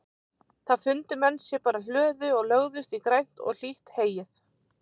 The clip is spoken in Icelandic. Þá fundu menn sér bara hlöðu og lögðust í grænt og hlýtt heyið.